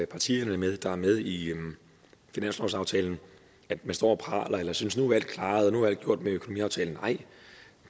partierne der er med i finanslovsaftalen står og praler og synes at nu er alt klaret og nu er alt gjort med økonomiaftalen nej